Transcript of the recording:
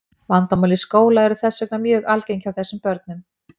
vandamál í skóla eru þess vegna mjög algeng hjá þessum börnum